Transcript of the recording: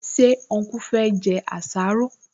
Ṣé ọnkú fẹ́ jẹ àsáró?